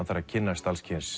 þarf að kynnast